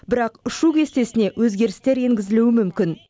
бірақ ұшу кестесіне өзгерістер енгізілуі мүмкін